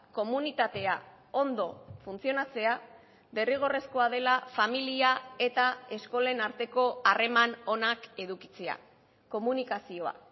komunitatea ondo funtzionatzea derrigorrezkoa dela familia eta eskolen arteko harreman onak edukitzea komunikazioa